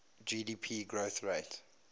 gdp growth rate